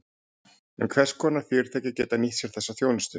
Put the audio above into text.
En hvers konar fyrirtæki geta nýtt sér þessa þjónustu?